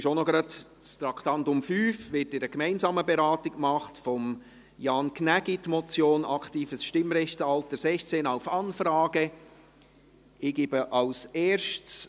Zugleich wird in einer gemeinsamen Beratung das Traktandum 5, die Motion von Jan Gnägi, «Aktives Stimmrechtsalter 16 auf Anfrage» beraten.